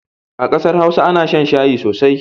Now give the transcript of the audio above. A ƙasar Hausa ana shan shayi sosai.